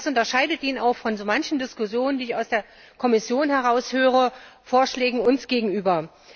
Und das unterscheidet ihn auch von so manchen Diskussionen, die ich aus der Kommission heraus höre, und Vorschlägen uns gegenüber.